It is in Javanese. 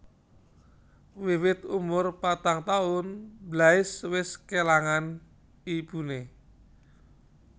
Wiwit umur patang taun Blaise wis kélangan ibuné